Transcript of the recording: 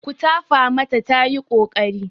Ku tafa mata tayi ƙoƙari.